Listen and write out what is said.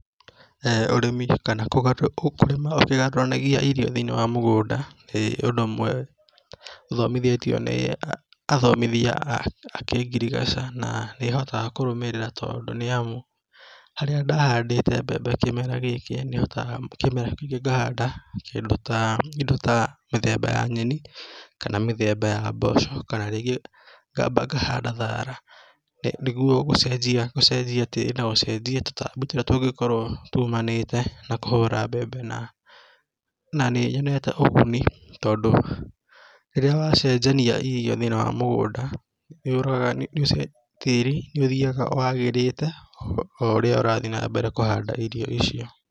ũrĩmi kana kũrĩma ũkĩgarũranagia irio thĩinĩ wa mũgũnda, ĩĩ nĩ ũndũ ũmwe tũthomithĩtio nĩ athomithia a kĩngirigaca na nĩhotaga kũrũmĩrĩra tondũ nĩamu harĩa ndahandĩte mbembe kĩmera gĩkĩ, nĩhotaga kĩmera kĩu kĩngĩ ngahanda kĩndũ taa kĩndũ ta mĩthemba ya nyeni kana mĩthemba ya mboco kana rĩngĩ ngamba ngahanda thara , nĩ niguo gũcenjia tĩri na gũcenjia tũtambi ũrĩa tũngĩkorwo tumanĩte na kũhũra mbembe na nĩ nĩnyonete ũguni, tondũ rĩrĩa wacenjania irio thĩinĩ wa mũgũnda nĩũraga tĩri nĩũthiaga wagĩrĩte o ũrĩa ũrathiĩ na mbere kũhanda irio icio.